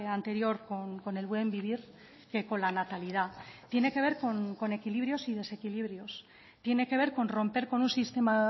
anterior con el buen vivir que con la natalidad tiene que ver con equilibrios y desequilibrios tiene que ver con romper con un sistema